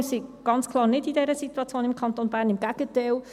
Wir sind im Kanton Bern ganz klar nicht in dieser Situation – im Gegenteil.